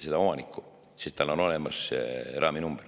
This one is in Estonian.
seda omanikku, sest ATV‑l on olemas raami number.